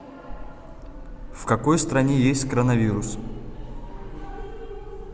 в какой стране есть коронавирус